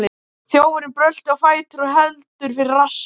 Þjófurinn bröltir á fætur og heldur fyrir rassinn.